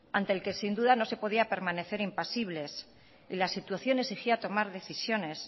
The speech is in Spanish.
ante el que sin duda no se podía permanecer impasibles las situaciones exigía tomar decisiones